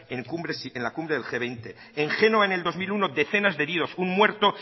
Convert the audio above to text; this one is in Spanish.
en la cumbre del ge veinte en génova en el dos mil uno decenas de heridos un muerto